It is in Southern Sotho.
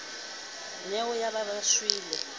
nnyeo ba ne ba shwele